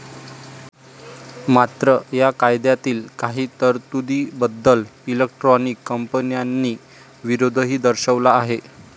मात्र, या कायद्यातील काही तरतुदीबद्दल इलेक्ट्रॉनिक कंपन्यांनी विरोधही दर्शवला आहे.